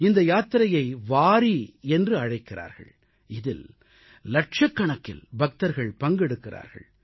இந்த யாத்திரையை வாரீ என்று அழைக்கிறார்கள் இதில் லட்சக்கணக்கில் பக்தர்கள் பங்கெடுக்கிறார்கள்